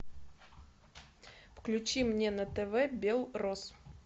включи мне на тв белрос